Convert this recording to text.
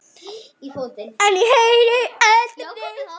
En ég heyri aldrei neitt.